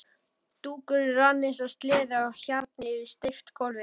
Dúkurinn rann eins og sleði á hjarni yfir steypt gólfið.